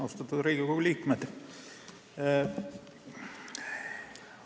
Austatud Riigikogu liikmed!